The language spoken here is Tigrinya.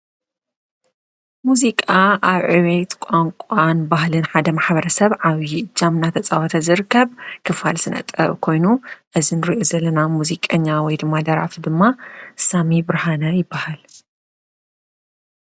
ሙዚቃ አብ ዕቤት ቋንቋን ባህልን ሓደ ማሕበረሰብ ዓብይ እጃም እናተፃወተ ዝርከብ ክፋል ስነ ጥበብ ኮይኑ እዚ እንሪኦ ዘለና ሙዚቀኛ ወይ ድማ ደራፊ ድማ ሳሚ ብርሃነ ይብሃል፡፡